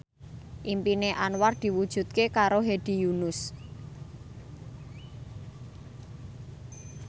impine Anwar diwujudke karo Hedi Yunus